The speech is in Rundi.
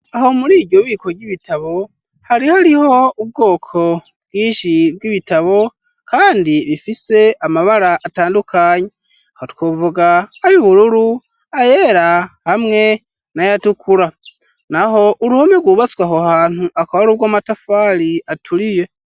Aho muri iryo biko ry'ibitabo, hari hariho ubwoko bwinshi bw'ibitabo kandi bifise amabara atandukanye. Aho twovuga ay'ubururu, ayera hamwe n'ayatukura. Naho, uruhome rwubatswe aho hantu, akaba ari urw'amatafari aturiye.